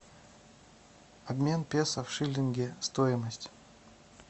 обмен песо в шиллинги стоимость